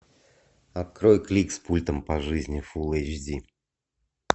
открой клик с пультом по жизни фул эйч ди